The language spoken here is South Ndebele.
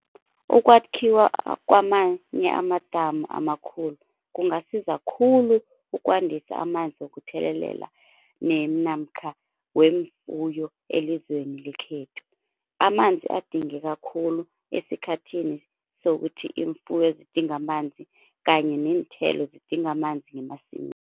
Ukwakhiwa kwamanye amadamu amakhulu kungasiza khulu ukwandisa amanzi wokuthelelela namkha weemfuyo elizweni lekhethu. Amanzi adingeka khulu esikhathini sokuthi imfuyo zidinga amanzi kanye neenthelo zidinga amanzi ngemasimini.